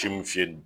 Timinisi